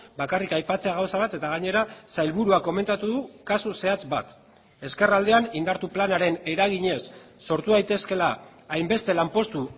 bakarrik aipatzea gauza bat eta gainera sailburuak komentatu du kasu zehatz bat ezkerraldean indartu planaren eraginez sortu daitezkeela hainbeste lanpostu